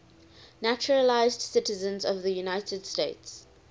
naturalized citizens of the united states